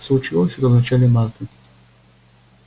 случилось это в начале марта